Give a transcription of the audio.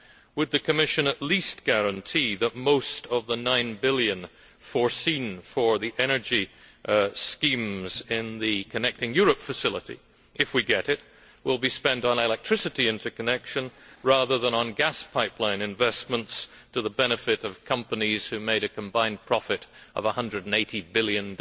Would the Commission at least guarantee that most of the EUR 9 billion foreseen for the energy schemes in the Connecting Europe Facility if we get it will be spent on electricity interconnection rather than on gas pipeline investments to the benefit of companies who made a combined profit of USD 180 billion